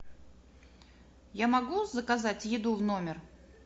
я могу заказать еду в номер